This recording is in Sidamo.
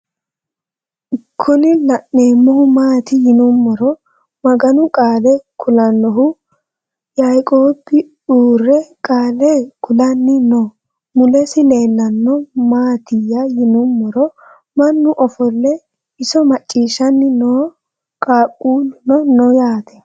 Kun lanemohu maati yinumoro maganu qaale kulanohu yaiqob uure qaale kulanni no mules leelanohu maatiya yinumoro mannu ofolle iso maciishanni no qaaqulluno no yaate